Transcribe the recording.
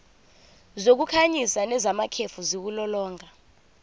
zokukhanyisa nezamakhefu ziwulolonga